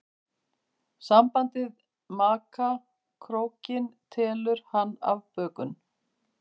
Sambandið maka krókinn telur hann afbökun.